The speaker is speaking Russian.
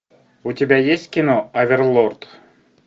у тебя есть кино оверлорд